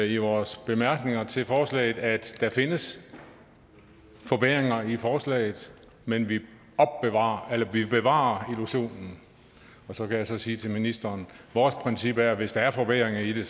i vores bemærkninger til forslaget at der findes forbedringer i forslaget men vi bevarer vi bevarer illusionen så kan jeg så sige til ministeren vores princip er at hvis der er forværring i det